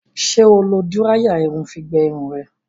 Ṣé o lo díráyà irun fi gbẹ irun rẹ?